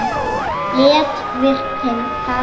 Lét verkin tala.